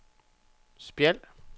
Spjald